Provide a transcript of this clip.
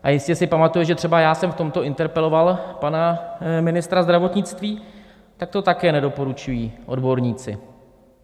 A jistě si pamatuje, že třeba já jsem v tomto interpeloval pana ministra zdravotnictví, tak to také nedoporučují odborníci.